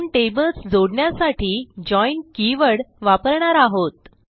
दोन टेबल्स जोडण्यासाठी join keyword वापरणार आहोत